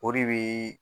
O de bi